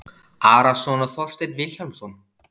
Arason og Þorstein Vilhjálmsson